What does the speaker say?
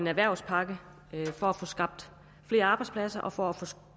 en erhvervspakke for at få skabt flere arbejdspladser og for at få